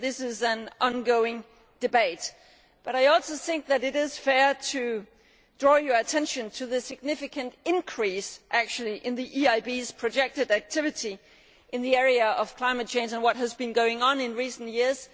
This is an ongoing debate, but I also think that it is fair to draw your attention to the significant increase in the EIB's projected activity in the area of climate change and what has been going on in recent years.